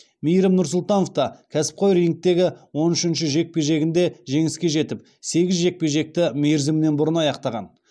мейірім нұрсұлтановта кәсіпқой рингтегі он үшінші жекпе жегінде жеңіске жетіп сегіз жекпе жекті мерзімнен бұрын аяқтаған